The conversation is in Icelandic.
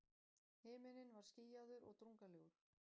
Himinninn var skýjaður og drungalegur.